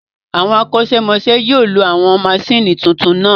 Àwọn akosemose yóò lo àwọn maṣíìnì tuntun náà